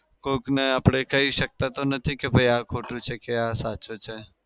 કોક ને આપડે કઈ શકતા તો નથી કે ભઈ આ ખોટું છે કે આ સાચું છે.